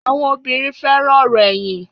Àwọn obìrin fẹràn òrò èyìn